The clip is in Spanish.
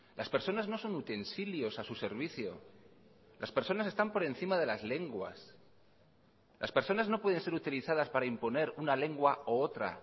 las personas no son utensilios a su servicio las personas están por encima de las lenguas las personas no pueden ser utilizadas para imponer una lengua u otra